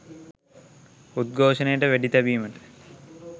උද්ඝෝෂණයට වෙඩි තැබීමට